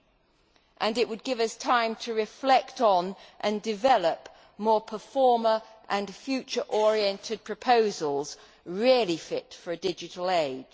It would also give us time to reflect on and develop more performer and future oriented proposals really fit for a digital age.